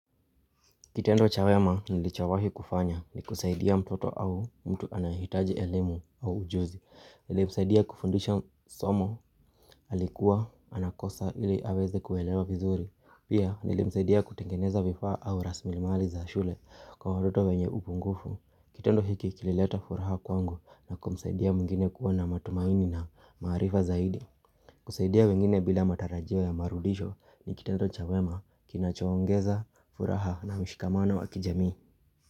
Kitendo cha wema nilichowahi kufanya ni kusaidia mtoto au mtu anayehitaji elimu au ujuzi Nilimsaidia kufundisha somo alikuwa anakosa ili aweze kuelewa vizuri Pia nilimsaidia kutengeneza vifaa au raslimali za shule kwa watoto wenye upunguvu Kitendo hiki kilileta furaha kwangu na kumsaidia mwingine kuwa na matumaini na maarifa zaidi kusaidia wengine bila matarajio ya marudisho ni kita tocha wema kinachowongeza, furaha na mshikamana wakijami.